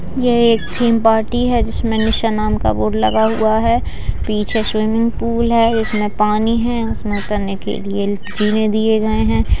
ये एक theme party है जिसमें निशा नाम का बोर्ड लगा हुआ है पीछे स्विमिंग पूल है जिसमें पानी है उसमें उतरने के लिए जीने दिए गए हैं।